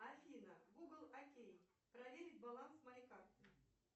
афина гугл окей проверить баланс моей карты